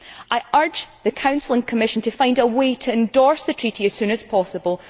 I urge the Council and the Commission to find a way to endorse the Treaty as soon as possible.